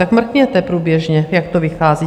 Tak mrkněte průběžně, jak to vychází.